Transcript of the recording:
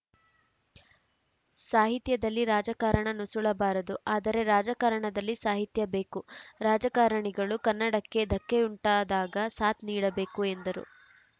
ಸಾಹಿತ್ಯದಲ್ಲಿ ರಾಜಕಾರಣ ನುಸುಳಬಾರದು ಆದರೆ ರಾಜಕಾರಣದಲ್ಲಿ ಸಾಹಿತ್ಯ ಬೇಕು ರಾಜಕಾರಣಿಗಳು ಕನ್ನಡಕ್ಕೆ ಧಕ್ಕೆಯುಂಟಾದಾಗ ಸಾಥ್‌ ನೀಡಬೇಕು ಎಂದರು